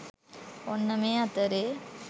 ඔන්න මේ අතරේ